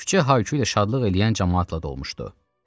Küçə Haykü ilə şadlıq eləyən camaatla dolmuşdu.